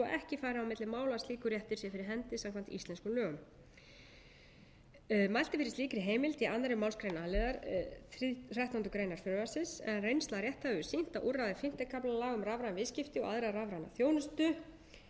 ekki fari á milli mála að slíkur réttur sé fyrir hendi samkvæmt íslenskum lögum mælt er fyrir slíkri heimild í annarri málsgrein a liðar þrettándu greinar frumvarpsins en reynsla rétthafa hefur sýnt að úrræði fimmta kafla laga um rafræn viðskipti og aðra rafræna þjónustu